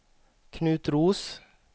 Knut Roos